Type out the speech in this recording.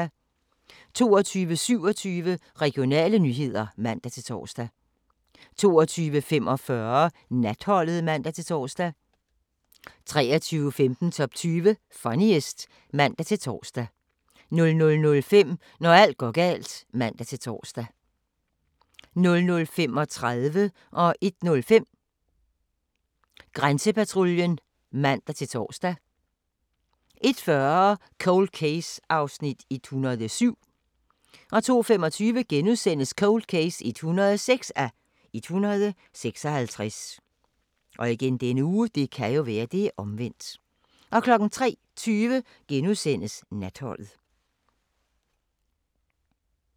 22:27: Regionale nyheder (man-tor) 22:45: Natholdet (man-tor) 23:15: Top 20 Funniest (man-tor) 00:05: Når alt går galt (man-tor) 00:35: Grænsepatruljen (man-tor) 01:05: Grænsepatruljen (man-tor) 01:40: Cold Case (107:156) 02:25: Cold Case (106:156)* 03:20: Natholdet *